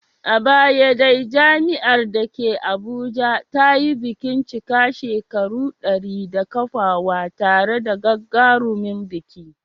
A baya dai jami'ar da ke Abuja ta yi bikin cika shekaru dari da kafuwa tare da gagarumin biki.